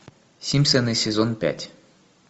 симпсоны сезон пять